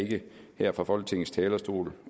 her fra folketingets talerstol